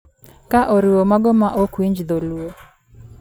ka o riwo mago ma ok winj dholuo.